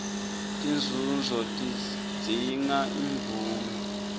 tinzunzo tidzinga imvume